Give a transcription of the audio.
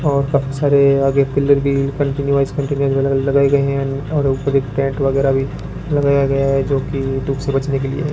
और अक्छरे आगे पिलर भी कंटीन्यूअस कांटिनेंटल लगाए गए है ऊपर एक टेंट वगैरा भी लगाया है जोकि धुप से बचने के लिए है।